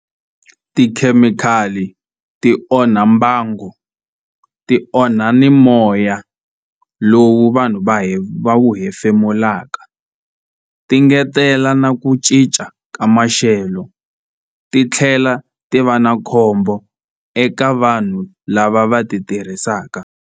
Tikhemikhali ti onha mbango ti onha ni moya lowu vanhu va va wu hefemulaka ti ngetela na ku cinca ka maxelo ti tlhela ti va na khombo eka vanhu lava va ti tirhisaka.